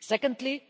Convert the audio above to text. Secondly,